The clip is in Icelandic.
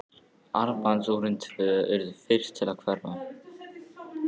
Armbandsúrin tvö urðu fyrst til að hverfa.